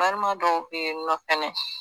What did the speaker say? Balima dɔw be yen nɔ fɛnɛ